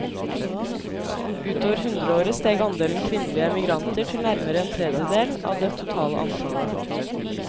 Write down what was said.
Utover hundreåret steg andelen kvinnelige emigranter til nærmere en tredel av det totale antallet.